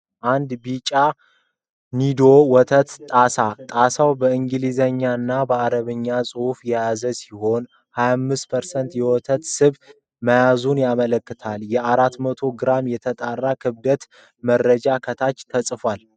አንድ ቢጫ የኒዶ ወተት ጣሳ ። ጣሳው በእንግሊዘኛ እና በአረብኛ ጽሑፎችን የያዘ ሲሆን፣ 28% የወተት ስብ መያዙን ያመለክታል። የ400 ግራም የተጣራ ክብደት መረጃ ከታች ተጽፏል።